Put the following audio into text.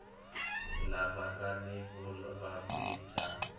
lava nga ni vuvabyi bya